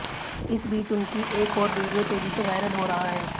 इस बीच उनकी एक और वीडियो तेजी से वायरल हो रहा है